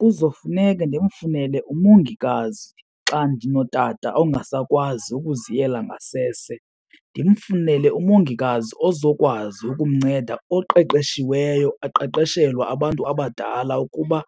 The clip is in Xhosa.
Kuzofuneka ndimfunele umongikazi xa ndinotata ongasakwazi ukuziyela ngasese. Ndimfunele umongikazi ozokwazi ukumnceda oqeqeshiweyo, eqeqeshelwa abantu abadala ukuba